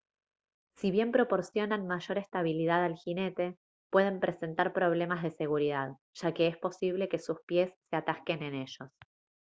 si bien proporcionan mayor estabilidad al jinete pueden presentar problemas de seguridad ya que es posible que sus pies se atasquen en ellos